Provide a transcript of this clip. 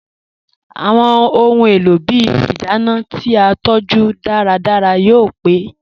Awọn ọ̀hun èlò ìbí ìdánà ti a tọju dàràdàrà yóò pẹ̀.